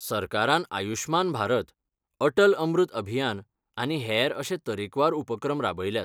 सरकारान आयुश्मान भारत, अटल अमृत अभियान आनी हेर अशे तरेकवार उपक्रम राबयल्यात.